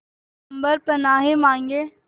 अम्बर पनाहे मांगे